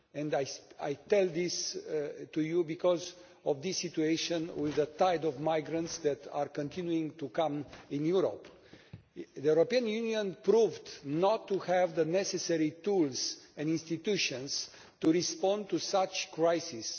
I say this to you because of the situation with the tide of migrants that is continuing to come to Europe. The European Union proved not to have the necessary tools and institutions to respond to such a crisis.